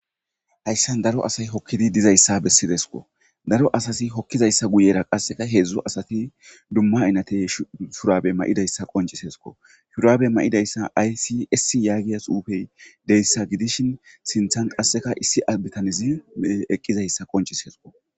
Hayssan daro asay hokkidi dizayssa bessidesqo daro asasi hokkizayssa guyera qasseka heedzdzu asati dumma inate shurabe ma7idayssa qoncisesko shuraabe ma7idayssa aysi essi yaagiya suufey deyssa gidishin sinthan qasseka issi albitanizi eqqizayssa qoncis hesqo